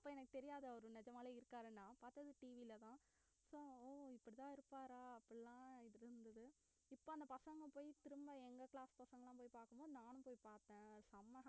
அப்ப எனக்கு தெரியாது அவரு நிஜமாவே இருக்காருன்னா பார்த்தது TV லதான் so இப்படித்தான் இருப்பாரா அப்படி எல்லாம் இருந்தது இப்ப அந்த பசங்க போயி திரும்ப எங்க class பசங்க எல்லாம் போய் பார்க்கும்போது நானும் போய் பார்த்தேன் செம